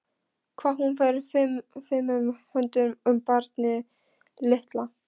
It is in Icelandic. Hvað hún fer fimum höndum um barnið litla.